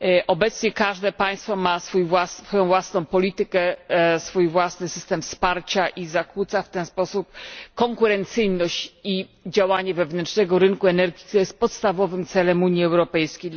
Obecnie każde państwo ma własną politykę, własny system wsparcia i zakłóca w ten sposób konkurencyjność i działanie wewnętrznego rynku energii, który jest podstawowym celem Unii Europejskiej.